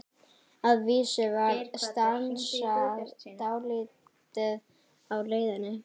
Að vísu var stansað dálítið á leiðinni.